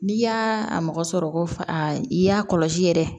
N'i y'a mɔgɔ sɔrɔ ko fa i y'a kɔlɔsi yɛrɛ